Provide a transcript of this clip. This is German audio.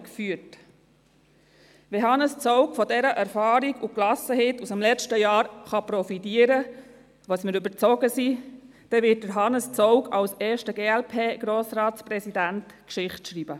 Wenn Hannes Zaugg von der Erfahrung und der Gelassenheit des letzten Jahres profitieren kann, wovon wir überzeugt sind, dann wird er als erster Glp-Grossratspräsident Geschichte schreiben.